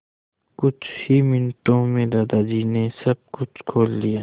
कुछ ही मिनटों में दादाजी ने सब कुछ खोल दिया